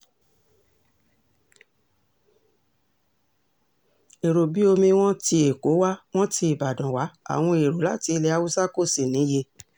èrò bíi omi wọn tí èkó wá wọn ti ìbàdàn wá àwọn èrò láti ilẹ̀ haúsá kò sì níye